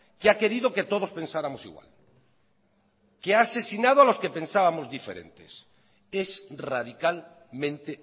que ha querido que todos pensáramos igual que ha asesinado a los que pensábamos diferentes es radicalmente